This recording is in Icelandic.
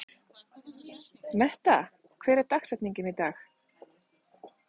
Metta, hver er dagsetningin í dag?